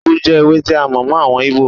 Úgú jẹ́ ewé tí a mọ̀ mọ́ àwọn Íbò.